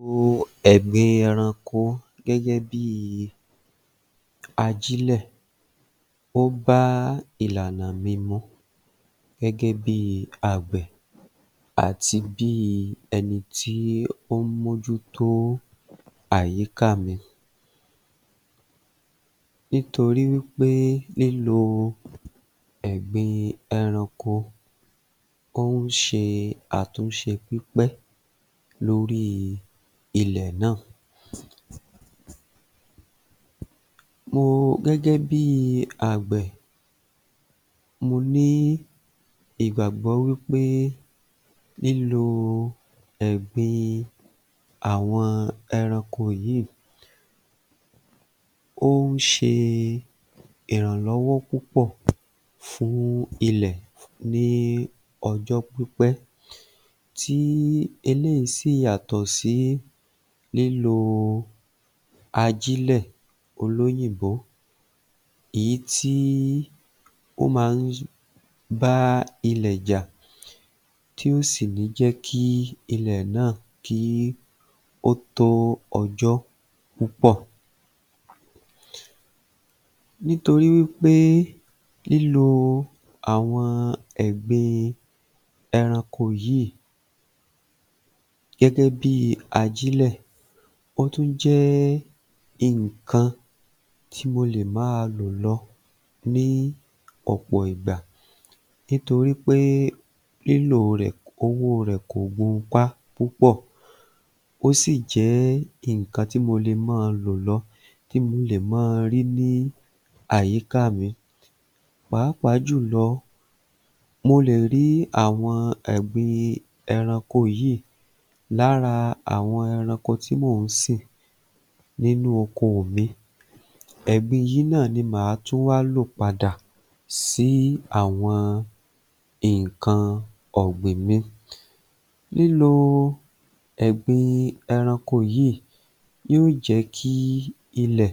Lílo ẹ̀gbin ẹranko gẹ́gẹ́ bíi ajílẹ̀, ó bá ìlànà mi mu gẹ́gẹ́ bí i àgbẹ̀ àti bí ẹni tí ó ń mójútó àyíká mi. Nítorí wípé lílò ẹ̀gbin ẹranko ó ń ṣe àtúnṣe pípẹ́ lórí ilẹ̀ náà. Mo, gẹ́gẹ́ bí i àgbẹ̀, mo ní ìgbàgbọ́ wípé lílo ẹ̀gbin àwọn ẹranko yìí ó ń ṣe ìrànlọ́wọ́ púpọ̀ fún ilẹ̀ ní ọjọ́ pípẹ́, tí eléyìí sì yàtọ̀ sí lílo ajílẹ̀ olóyìnbó, èyí t́i ó máa ń bá ilẹ̀ jà, tí ò sì ní jẹ́ kí ilẹ̀ náà ó tó ọjọ́ púpọ̀, nítorí wípé lílò àwọn ẹ̀gbin ẹranko yìí gẹ́gẹ́ bí i ajílẹ̀, ó tún jẹ́ nǹkan tí mo lè máa lò lọ ní ọ̀pọ̀ ìgbà, nítorí pé lílò rẹ̀, owó rẹ̀ ko gunpá púpọ̀, ó sì jẹ́ nǹkan tí mo lè máa lò lọ, tí mo lè máa rí ní àyíká mi, pàápàá jùlọ mo lè rí ẹ̀gbin ẹranko yìí lára àwọn ẹranko tí mò ń sìn nínú oko mi, ẹ̀gbin yìí náà ni má á tún wá lò padà sí àwọn nǹkan ọ̀gbìn mi. Lílo ẹ̀gbin ẹranko yìí yóó jẹ́ kí ilẹ̀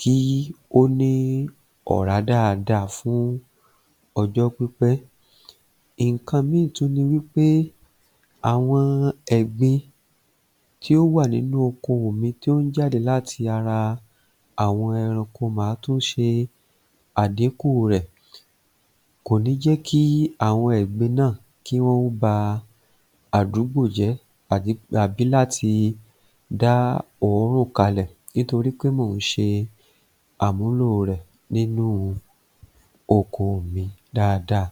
kí ó ní ọ̀rá dáadáa fún ọjọ́ pípẹ, nǹkan mìíràn tún ni wípé àwon ẹ̀gbin tí ó wà nínú oko mi, tó ń jáde láti ara àwọn ẹranko mà á tún ṣe àdínku rẹ̀, kò ní í jẹ́ kí àwọn ẹ̀gbin náà, kí wọn ó ba àdúgbò jẹ́ àbí láti dá òórùn kalẹ̀ nítorí pé mò ń ṣe àmúlò rẹ̀ nínú oko mi dáadáa